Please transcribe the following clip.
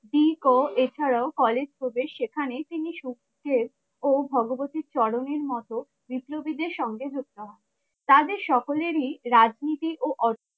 এছাড়াও কলেজ প্রবেশ সেখানে তিনি ভগবতী চরণের মতো বিপ্লবীদের সঙ্গে হত্যা হয় তাদের সকলের ই রাজনীতি ও